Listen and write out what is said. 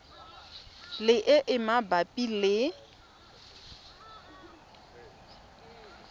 le e e mabapi le